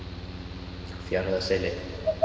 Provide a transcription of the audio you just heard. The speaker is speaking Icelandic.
Fjarðarseli